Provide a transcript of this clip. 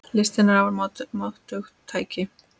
Listin er afar máttugt tæki.